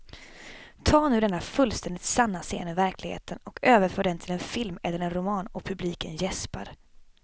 Ta nu denna fullständigt sanna scen ur verkligheten och överför den till en film eller en roman och publiken jäspar.